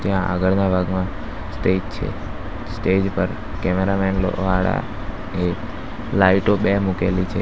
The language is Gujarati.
આગળના ભાગમાં સ્ટેજ છે સ્ટેજ પર કેમેરામેન વાળા લાઈટો બે મૂકેલી છે.